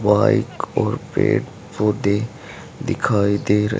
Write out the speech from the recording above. वहां एक और पेड़ पौधे दिखाई दे र--